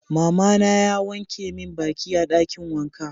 Mama na ya wanke min baki a dakin wanka.